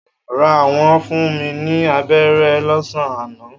Rár, wọn fún mi ní aberé lọ́sán-an àná.